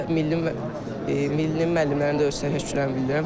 və milli millinin müəllimlərinə də öz təşəkkürlərimi bildirirəm.